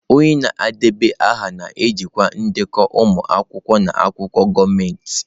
Onye na-edeba aha na-ejikwa ndekọ ụmụ akwụkwọ na akwụkwọ gọọmentị.